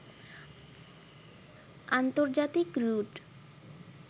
আন্তর্জাতিক রুট